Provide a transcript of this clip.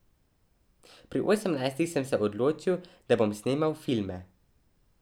Pri osemnajstih sem se odločil, da bom snemal filme.